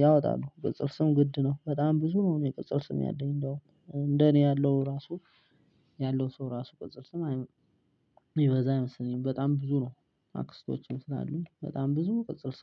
ያወጣሉ ቅጽል ስም ግድ ነው በጣም ብዙ ነው። የቅጽል ስም ያለኝ እንደውም እንደ እኔ ያለው ራሱ ያለው ሰው ራሱ ቅጽል ስም አይምሮ ይበዛ ይመስለኛል። በጣም ብዙ ነው አክስቶችን ስላሉ በጣም ብዙ ቅጽር